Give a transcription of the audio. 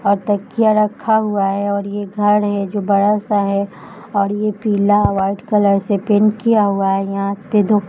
और तकिया रखा हुआ है और ये घर है जो बड़ा सा है और ये पीला व्हाइट कलर से पेंट किया हुआ है यहां पे दो --